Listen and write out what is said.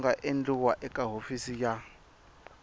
nga endliwa eka hofisi ya